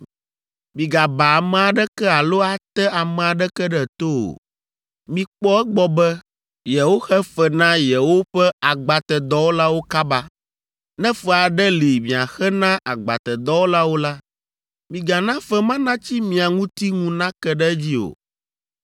“ ‘Migaba ame aɖeke alo ate ame aɖeke ɖe to o. “ ‘Mikpɔ egbɔ be yewoxe fe na yewoƒe agbatedɔwɔlawo kaba. Ne fe aɖe li miaxe na agbatedɔwɔlawo la, migana fe ma natsi mia ŋuti ŋu nake ɖe edzi o.